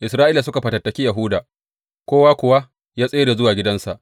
Isra’ila suka fatattaki Yahuda, kowa kuwa ya tsere zuwa gidansa.